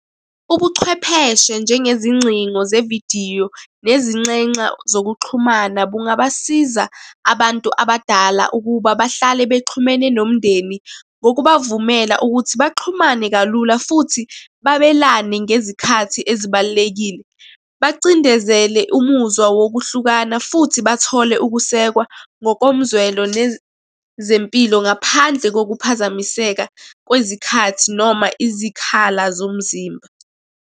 Ubuchwepheshe njengezingcingo zevidiyo, nezinxenxa zokuxhumana, bungabasiza abantu abadala ukuba bahlale bexhumene nomndeni. Ngokubavumela ukuthi baxhumane kalula futhi babelane ngezikhathi ezibalulekile. Bacindezele umuzwa wokuhlukana futhi bathole ukusekwa ngokomzwelo nezempilo ngaphandle kokuphazamiseka kwezikhathi noma izikhala zomzimba.